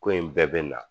Ko in bɛɛ bɛ na